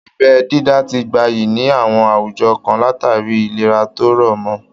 Abẹ́ dídá ti gbayì ní àwọn àwùjọ kan látàrí ìlera tó rọ̀ mọ